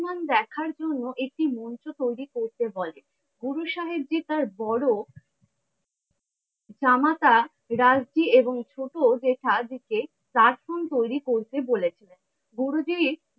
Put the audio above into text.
প্রমান দেখার জন্য একটি মঞ্চ তৈরি করতে বলেন গুরু সাহেবজী তার বড়ো জামাতা রামজী এবং ছোট জেঠাজী কে আশ্রম তৈরি করতে বলেছিলেন। গুরুজীর